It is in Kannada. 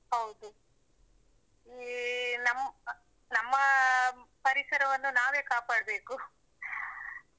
ಹೌದು. ಈ ನಮ್ಮ ನಮ್ಮ ಪರಿಸರವನ್ನು ನಾವೇ ಕಾಪಾಡ್ಬೇಕು .